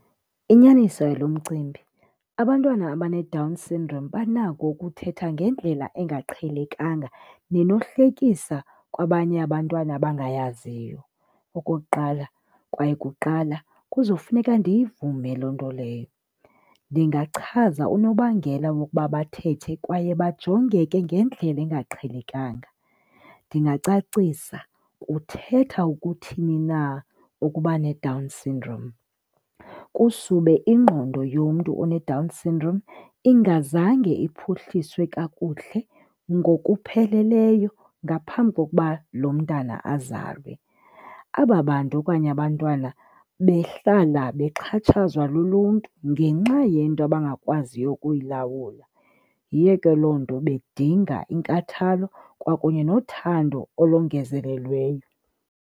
Inyaniso yalomcimbi abantwana abaneDown syndrome banako ukuthetha ngendlela engaqhelekanga nenohlekisa kwabanye abantwana abangayaziyo. Okokuqala, kwaye kuqala kuzofuneka ndiyivume loo nto leyo. Ndingachaza unobangela wokuba bathethe kwaye bajongeke ngendlela engaqhelekanga. Ndingacacisa kuthetha ukuthini na ukuba neDown syndrome, kusube ingqondo yomntu oneDown syndrome ingazange iphuhliswe kakuhle ngokupheleleyo ngaphambi kokuba lo mntana azalwe. Aba bantu okanye abantwana behlala bexhatshazwa luluntu ngenxa yento abangakwaziyo ukuyilawula, yiyo ke loo nto bedinga inkathalo kwakunye nothando olongezelelweyo.